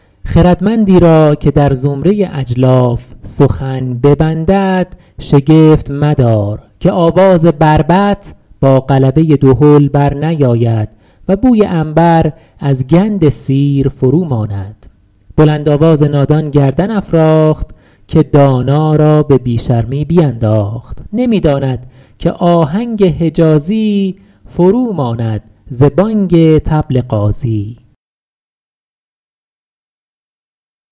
خردمندی را که در زمره اجلاف سخن ببندد شگفت مدار که آواز بربط با غلبه دهل بر نیاید و بوی عنبر از گند سیر فرو ماند بلند آواز نادان گردن افراخت که دانا را به بی شرمی بینداخت نمی داند که آهنگ حجازی فرو ماند ز بانگ طبل غازی